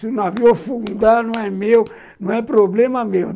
Se o navio afundar, não é meu, não é problema meu.